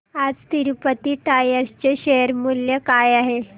आज तिरूपती टायर्स चे शेअर मूल्य काय आहे